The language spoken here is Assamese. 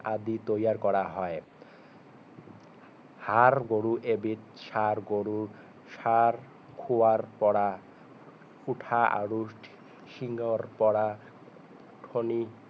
আদি তৈয়াৰ কৰা হয় ষাৰ গৰু এবিধ সাৰ গৰু ষাৰ খোৱাৰ পৰা উঠা আৰু শিঙৰ পৰা ফণী